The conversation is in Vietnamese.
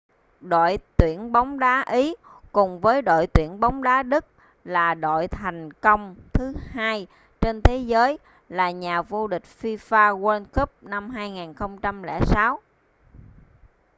đội tuyển bóng đá ý cùng với đội tuyển bóng đá đức là đội thành công thứ hai trên thế giới là nhà vô địch fifa world cup năm 2006